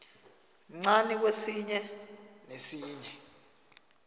mncani kwesinye nesinye